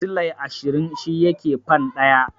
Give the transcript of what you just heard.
Silai ashirin shi yake fan ɗaya.